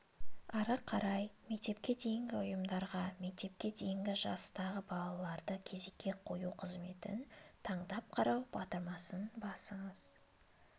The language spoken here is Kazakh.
ары қарай мектепке дейінгі ұйымдарға мектепке дейінгі жастағы балаларды кезекке қою қызметін таңдап қарау батырмасын басыңыз